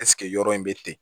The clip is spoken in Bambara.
yɔrɔ in bɛ ten